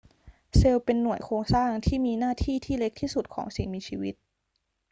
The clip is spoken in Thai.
เซลล์เป็นหน่วยโครงสร้างที่มีหน้าที่ที่เล็กที่สุดของสิ่งมีชีวิต